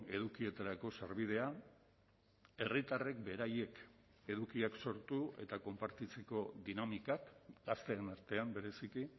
edukietarako sarbidea herritarrek beraiek edukiak sortu eta konpartitzeko dinamikak gazteen artean bereziki